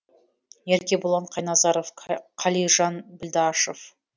еркебұлан қайназаров қалижан білдашев